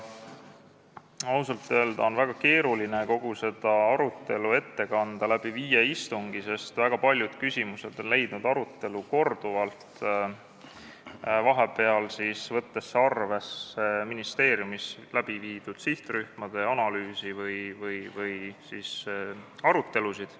Ausalt öelda on väga keeruline kogu seda viiel istungil toimunud arutelu ette kanda, sest väga paljud küsimused leidsid arutelu korduvalt, vahepeal võeti arvesse ministeeriumis läbiviidud sihtrühmade analüüsi või peetud arutelusid.